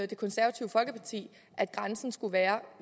det konservative folkeparti at grænsen skulle være